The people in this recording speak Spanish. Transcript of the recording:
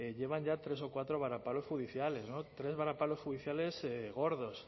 llevan ya tres o cuatro varapalos judiciales no tres varapalos judiciales gordos